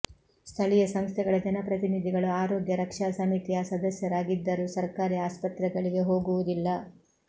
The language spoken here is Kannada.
ಸ್ಥಳೀಯ ಸಂಸ್ಥೆಗಳ ಜನಪ್ರತಿನಿಧಿಗಳು ಆರೋಗ್ಯ ರಕ್ಷಾ ಸಮಿತಿಯ ಸದಸ್ಯರಾಗಿದ್ದರೂ ಸರ್ಕಾರಿ ಆಸ್ಪತ್ರೆಗಳಿಗೆ ಹೋಗುವುದಿಲ್ಲ